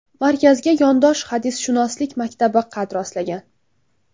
Markazga yondosh hadisshunoslik maktabi qad rostlagan.